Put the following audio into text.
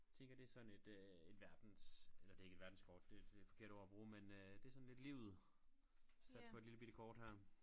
Tænker det sådan et øh et verdens eller det ikke et verdenskort det det det forkerte ord at bruge men øh det sådan lidt livet sat på et lillebitte kort her